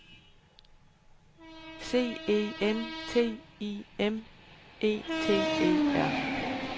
C E N T I M E T E R